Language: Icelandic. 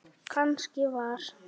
Kannski var